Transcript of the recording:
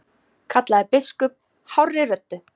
kallaði biskup hárri röddu.